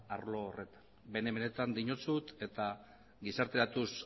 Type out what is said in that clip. arlo horretan bene benetan diozut eta gizarteratuz